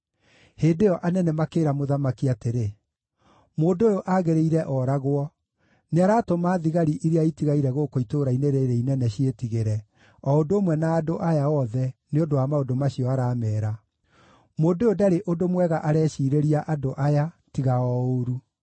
Hĩndĩ ĩyo anene makĩĩra mũthamaki atĩrĩ, “Mũndũ ũyũ aagĩrĩire ooragwo. Nĩaratũma thigari iria itigaire gũkũ itũũra-inĩ rĩĩrĩ inene ciĩtigĩre, o ũndũ ũmwe na andũ aya othe, nĩ ũndũ wa maũndũ macio arameera. Mũndũ ũyũ ndarĩ ũndũ mwega areciirĩria andũ aya tiga o ũũru.”